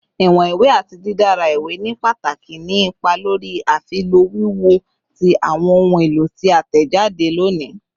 Iwọn iwe ati didara iwe ni pataki ni ipa lori afilọ wiwo ti awọn ohun elo ti a tẹjade loni